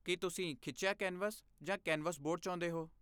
ਕੀ ਤੁਸੀਂ ਖਿੱਚਿਆ ਕੈਨਵਸ ਜਾਂ ਕੈਨਵਸ ਬੋਰਡ ਚਾਹੁੰਦੇ ਹੋ?